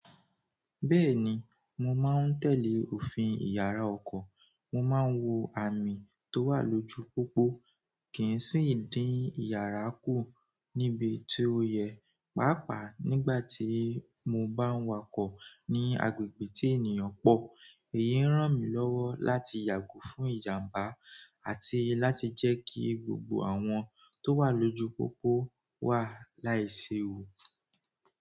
Bẹ́ẹ̀ni, mo máa ń tẹ̀lé òfin ìyàrá ọkọ̀. Mo máa ń wo àmì tó wà lójú pópó, kì í sì ń dín ìyàrá kù níbi tí ó yẹ. Pàápàá nígbà tí mo bá ń wakọ̀ ní agbègbè tí ènìyàn pọ̀, èyí ń ràn mí lọ́wọ́ láti yàgò fún ìjàmbá àti láti jẹ́ kí gbogbo àwọn tó wà lójú pópó wà láìsí ewu.